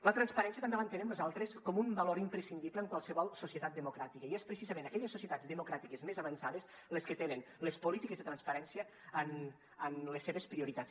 la transparència també l’entenem nosaltres com un valor imprescindible en qualsevol societat democràtica i són precisament aquelles societats democràtiques més avançades les que tenen les polítiques de transparència en les seves prioritats